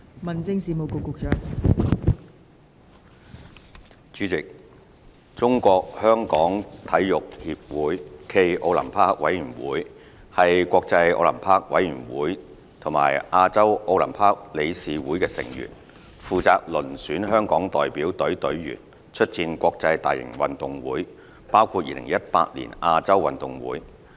代理主席，中國香港體育協會暨奧林匹克委員會是國際奧林匹克委員會和亞洲奧林匹克理事會的成員，負責遴選香港代表隊隊員出戰國際大型運動會，包括2018年亞洲運動會。